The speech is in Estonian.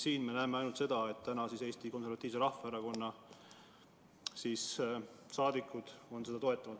Miks me siin näeme ainult seda, et Eesti Konservatiivse Rahvaerakonna saadikud seda toetavad?